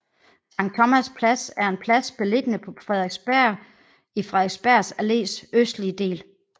Sankt Thomas Plads er en plads beliggende på Frederiksberg i Frederiksberg Allés østlige del